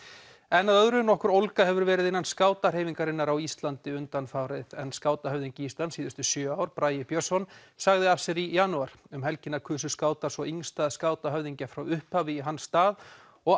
Bíflugan nokkur ólga hefur verið innan skátahreyfingarinnar á Íslandi undanfarið en skátahöfðingi Íslands síðustu sjö ár Bragi Björnsson sagði af sér í janúar um helgina kusu skátar svo yngsta skátahöfðingja frá upphafi í hans stað og